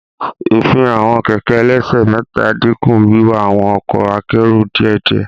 Ifihan awọn kẹkẹ ẹlẹsẹ mẹta n dinku wiwa awọn ọkọ akero diẹdiẹ.